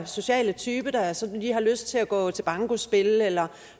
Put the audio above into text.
sociale type der sådan lige har lyst til at gå til bankospil eller